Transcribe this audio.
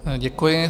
Děkuji.